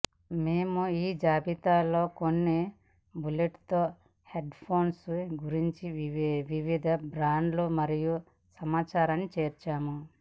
మేము ఈ జాబితాలోకొన్ని బ్లూటూత్ హెడ్ ఫోన్స్ గురించి వివిధ బ్రాండ్లు మరియు సమాచారాన్ని చేర్చాము